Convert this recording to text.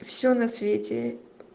всё на свете